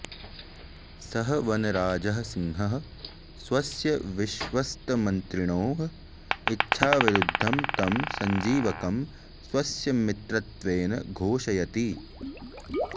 सः वनराजः सिंहः स्वस्य विश्वस्तमन्त्रिणोः इच्छाविरुद्धं तं सञ्जीवकं स्वस्य मित्रत्वेन घोषयति